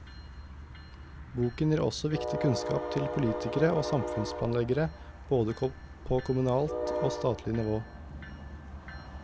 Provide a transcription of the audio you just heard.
Boken gir også viktig kunnskap til politikere og samfunnsplanleggere, både på kommunalt og statlig nivå.